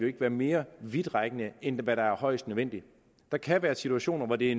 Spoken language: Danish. ikke være mere vidtgående end højst nødvendigt der kan være situationer hvor det